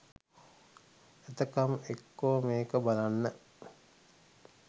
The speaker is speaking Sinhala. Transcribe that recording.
එතකම් එක්කෝ මේක බලන්න.